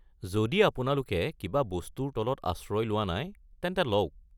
যদি আপোনালোকে কিবা বস্তুৰ তলত আশ্ৰয় লোৱা নাই, তেন্তে লওক।